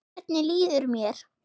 Hvernig líður mér?